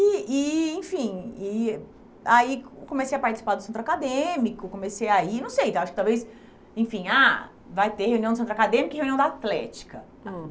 E e, enfim, e aí comecei a participar do centro acadêmico, comecei a ir, não sei, acho que talvez, enfim, ah, vai ter reunião do centro acadêmico e reunião da atlética. Hum